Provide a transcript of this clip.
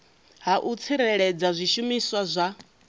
ha u tsireledza zwishumiswa zwa